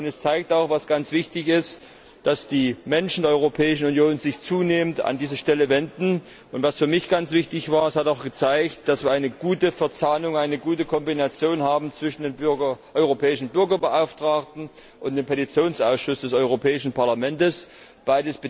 Er zeigt auch was ganz wichtig ist dass sich die Menschen in der Europäischen Union zunehmend an diese Stelle wenden. Was für mich ganz wichtig war Es wurde auch deutlich, dass wir eine gute Verzahnung, eine gute Kombination zwischen dem Europäischen Bürgerbeauftragten und dem Petitionsausschuss des Europäischen Parlaments haben.